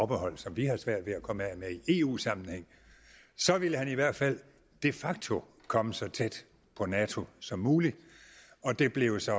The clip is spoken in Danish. behold som vi har svært ved at komme af med i eu sammenhæng så ville han i hvert fald de facto komme så tæt på nato som muligt og det blev så